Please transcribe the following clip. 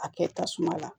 A kɛ tasuma la